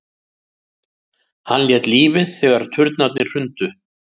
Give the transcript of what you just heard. Hann lét lífið þegar turnarnir hrundu